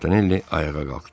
Montanelli ayağa qalxdı.